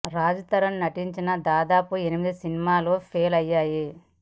రాజ్ తరుణ్ నటించిన దాదాపు ఎనిమిది సినిమాలు ఫెయిల్ అయ్యాయి